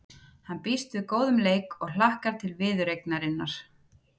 Hann býst við góðum leik og hlakkar til viðureignarinnar.